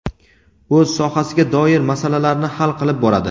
o‘z sohasiga doir masalalarni hal qilib boradi.